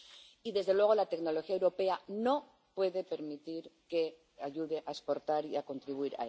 Y, desde luego, la tecnología europea no puede permitir que se ayude a exportar y contribuir